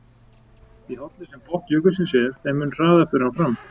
Því hálli sem botn jökulsins er, þeim mun hraðar fer hann fram.